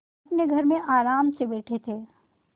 अपने घर में आराम से बैठे थे